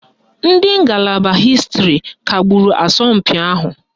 Ndị ngalaba hịstịrị kagburu asọmpi ahụ